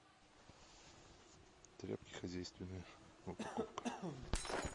тряпки хозяйственные упаковка